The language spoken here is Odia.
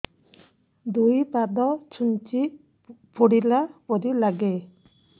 ଦୁଇ ପାଦ ଛୁଞ୍ଚି ଫୁଡିଲା ପରି ଲାଗେ